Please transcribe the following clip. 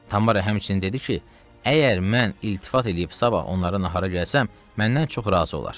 Tamara həmçinin dedi ki, əgər mən iltifat eləyib sabah onların nahara gəlsəm, məndən çox razı olar.